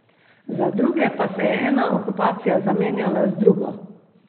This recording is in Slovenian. Za druge pa se je ena okupacija zamenjala z drugo.